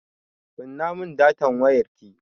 Kunna mun datan wayarki!